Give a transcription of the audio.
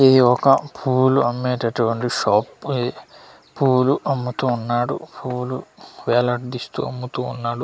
ఈ ఒక పూలు అమ్మేటటువంటి షాప్ ఇది పూలు అమ్ముతూ ఉన్నాడు పూలు వేలాడదీస్తూ అమ్ముతూ ఉన్నాడు.